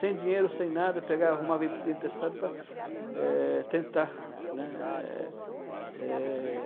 Sem dinheiro, sem nada, pegava, arrumava dinheiro emprestado para, eh, tentar, né? Eh...